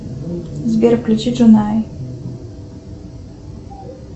сбер включи джонай